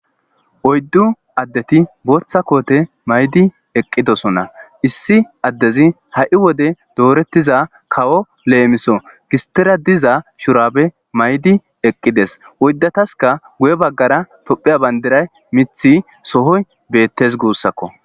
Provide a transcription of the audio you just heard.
Oyidu addeti botha kothe mayidi eqidosona issi addezi ha'i wode doretida kawo lemiso gistera diza shurabe mayidi eqides oyidatasika guye bagara tophiya bandiray mithi sohoy betes gusako.